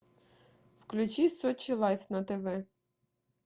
включи сочи лайф на тв